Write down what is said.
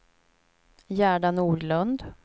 Gerda Nordlund